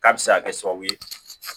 K'a bɛ se ka kɛ sababu ye